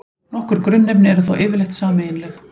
Nokkur grunnefni eru þó yfirleitt sameiginleg.